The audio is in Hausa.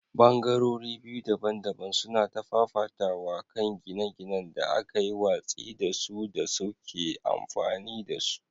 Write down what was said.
Ɓangarori biyu daban-daban suna ta fafatawa a kan gine-ginen da aka yi watsi da su da suke amfani da su.